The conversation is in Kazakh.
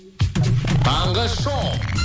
таңғы шоу